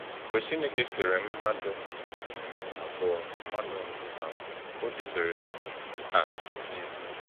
Mgbe Chineke kere mmadụ mbụ abụọ, mmadụ mbụ abụọ, o debere ha ebee?